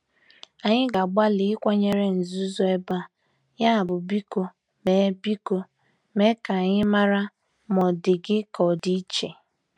Anyị na-agbalị ịkwanyere nzuzo ebe a, yabụ biko mee biko mee ka anyị mara ma ọ dị gị ka ọ dị iche.